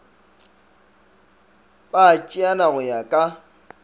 ba tšeana go ya ka